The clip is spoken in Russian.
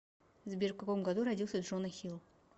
сбер в каком году родился джона хилл